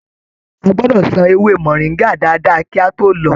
A gbọdọ sàn ewé moringa dáadáa kí a tó lọ.